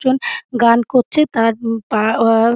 একজন গান করছে তা পা আ-আ --